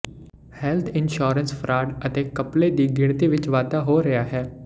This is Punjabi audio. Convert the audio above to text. ਹੈਲਥ ਇੰਸ਼ੋਰੈਂਸ ਫਰਾਡ ਅਤੇ ਘਪਲੇ ਦੀ ਗਿਣਤੀ ਵਿਚ ਵਾਧਾ ਹੋ ਰਿਹਾ ਹੈ